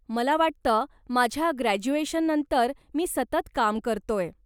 मला वाटतं माझ्या ग्रॅज्युएशननंतर मी सतत काम करतोय.